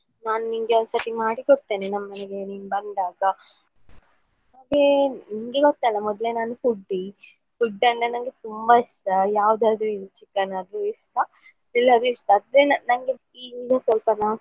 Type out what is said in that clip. ನಾನು ನಿಂಗೆ ಒಂದ್ಸರ್ತಿ ಮಾಡಿಕೊಡ್ತೇನೆ ನಮ್ಮನೆಗೆ ನೀನು ಬಂದಾಗ ಮತ್ತೇ ನಿಂಗೆ ಗೊತ್ತಲ್ಲ ಮೊದ್ಲೇ ನಾನು ನಮ್ಮನೇಲಿ ಬಂದಾಗ ನಿಮಗೆ ಗೊತ್ತಲ್ಲ ಮೊದ್ಲೇ ನಾನು foodie food ಅಂದ್ರೆ ನಂಗೆ ತುಂಬಾ ಇಷ್ಟ ಯಾವುದಾದ್ರೂ ಇರ್ಲಿ chicken ತುಂಬ ಇಷ್ಟ ಇನ್ನೂ ಸ್ವಲ್ಪ ಮಾಸ .